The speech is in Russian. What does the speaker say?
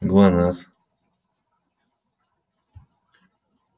глонассс